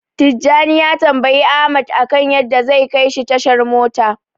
Tijjani ya tambayi Ahmad akan yadda zai kaishi tashar mota.